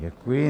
Děkuji.